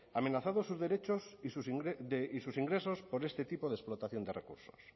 amenazados sus derechos y sus ingresos por este tipo de explotación de recursos